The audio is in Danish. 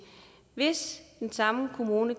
hvis den samme kommune